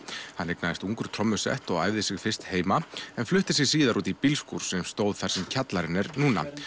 hann eignaðist ungur trommusett og æfði sig fyrst heima en flutti sig síðar út í bílskúr sem stóð þar sem kjallarinn er núna